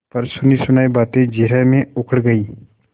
पर सुनीसुनायी बातें जिरह में उखड़ गयीं